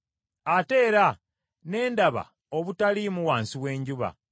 Ate era ne ndaba obutaliimu wansi w’enjuba: